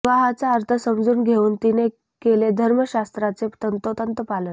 विवाहाचा अर्थ समजून घेऊन तिने केले धर्मशास्त्राचे तंतोतंत पालन